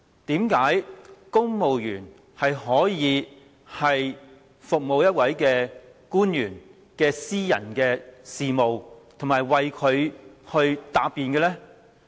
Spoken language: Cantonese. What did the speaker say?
為何公務員要就一位官員的私人事務而做工作，以及為他答辯呢？